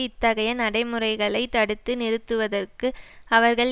இத்தகைய நடைமுறைகளை தடுத்து நிறுத்துவதற்கு அவர்கள்